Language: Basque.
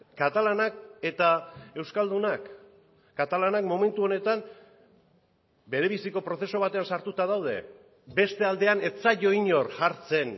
katalanak eta euskaldunak katalanak momentu honetan berebiziko prozesu batean sartuta daude beste aldean ez zaio inor jartzen